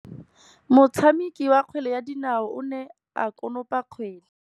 Motshameki wa kgwele ya dinaô o ne a konopa kgwele.